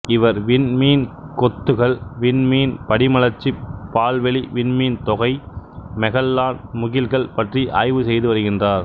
இவர் விண்மீன் கொத்துகள் விண்மீன் படிமலர்ச்சி பால்வெளி விண்மீன்தொகை மெகல்லான் முகில்கள் பற்றி ஆய்வு செய்துவருகின்றார்